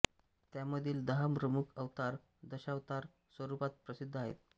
त्यामधील दहा प्रमुख अवतार दशावतार स्वरुपात प्रसिद्ध आहेत